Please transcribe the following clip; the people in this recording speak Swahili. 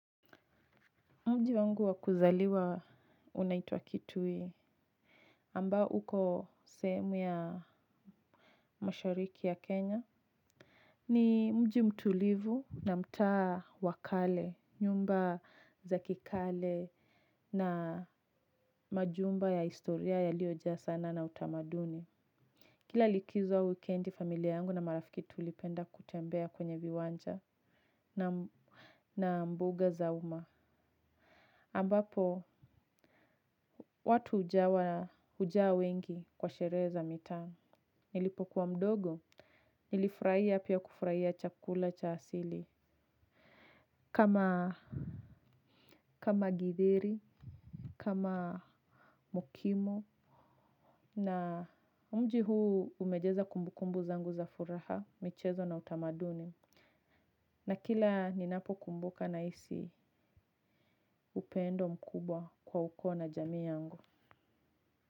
Mji wangu wakuzaliwa unaitwa kitui ambako sehemu ya mashariki ya Kenya. Ni mji mtulivu na mtaa wa kale, nyumba za kikale na majumba ya historia yaliojaa sanaa na utamaduni. Kila likizo au wikendi familia yangu na marafiki tulipenda kutembea kwenye viwanja na mbuga za uma. Ambapo, watu ujawa hujaa wengi kwa sherehe za mitaa. Nilipokuwa mdogo nilifuiraia pia kufuraia chakula cha asili. Kama githeri, kama mokimo na mji huu umejeza kumbukumbu zangu za furaha, michezo na utamaduni. Na kila ninapo kumbuka nahisi upendo mkubwa kwa ukoo na jamii yangu.